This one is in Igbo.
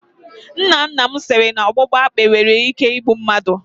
Nna nna m siri na ọgbụgba akpi nwere ike igbu mmadụ.